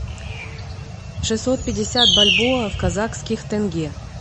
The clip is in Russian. шестьсот пятьдесят бальбоа в казахских тенге